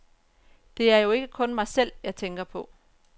Det er jo ikke mig selv, jeg tænker på.